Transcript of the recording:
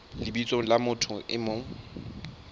lebitsong la motho e mong